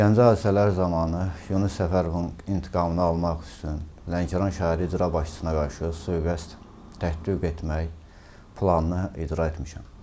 Gəncə hadisələri zamanı Yunis Səfərovun intiqamını almaq üçün Lənkəran şəhəri icra başçısına qarşı sui-qəsd tətdiq etmək planını icra etmişəm.